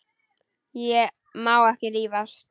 Ég má ekki rífast.